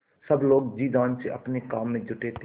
सब लोग जी जान से अपने काम में जुटे थे